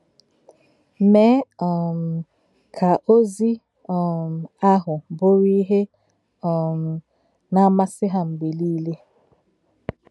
Mè̄é̄ um kà òzì̄ um àhụ̄ bụ́ró̄ íhè um nā-ámásị̄ Hà̄ m̀gbè̄ níle.